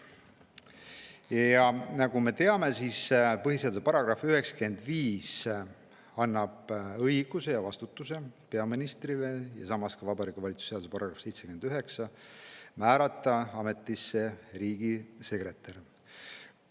Ja nagu me teame, põhiseaduse § 95 ning Vabariigi Valitsuse seaduse § 79 annavad peaministrile õiguse ja vastutuse määrata ametisse riigisekretär.